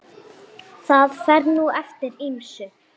Það fer nú eftir ýmsu.